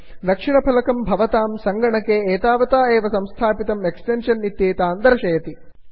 दक्षिणफलकं भवतां सङ्गणके एतावता एव संस्थापितं एक्स्टेन्षन् इत्येतान् दर्शयति